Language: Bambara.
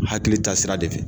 Hakili taa sira de fɛ.